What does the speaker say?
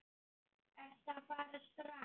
Ertu að fara strax?